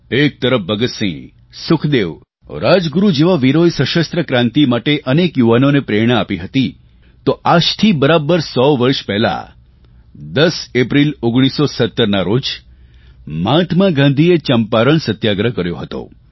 એક તરફ ભગતસિંહ સુખદેવ રાજગુરૂ જેવા વીરોએ સશસ્ત્ર ક્રાંતિ માટે અનેક યુવકોને પ્રેરણા આપી હતી તો આજથી બરાબર સો વર્ષ પહેલાં 10 એપ્રિલ 1917ના રોજ મહાત્મા ગાંધીએ ચંપારણ સત્યાગ્રહ કર્યો હતો